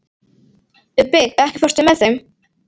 Ubbi, ekki fórstu með þeim?